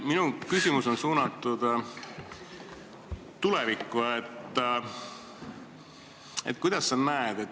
Minu küsimus on suunatud tulevikku, et kuidas sa seda näed.